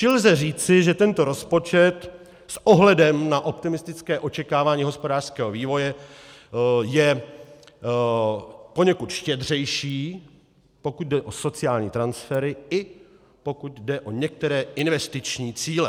Čili lze říci, že tento rozpočet s ohledem na optimistické očekávání hospodářského vývoje je poněkud štědřejší, pokud jde o sociální transfery i pokud jde o některé investiční cíle.